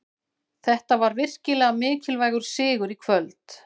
Þetta var virkilega mikilvægur sigur í kvöld.